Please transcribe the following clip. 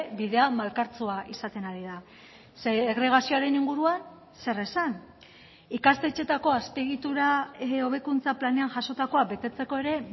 bidea malkartsua izaten ari da segregazioaren inguruan zer esan ikastetxeetako azpiegitura hobekuntza planean jasotakoa betetzeko ere